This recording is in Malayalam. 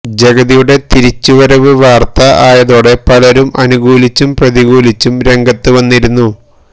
ജഗതിയുടെ തിരിച്ചുവരവ് വാർത്ത ആയതോടെ പലരും അനുകൂലിച്ചും പ്രതികൂലിച്ചും രംഗത്ത് വന്നിരുന്നു